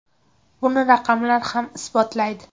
Buni raqamlar ham isbotlaydi.